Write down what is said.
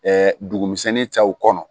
dugumisɛnnin cɛw kɔnɔ